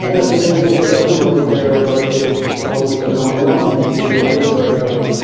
the sunday is curricum birthday cake top with the number one in the getting a first birthday.